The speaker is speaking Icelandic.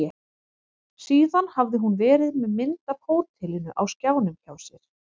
Síðan hafði hún verið með mynd af hótelinu á skjánum hjá sér.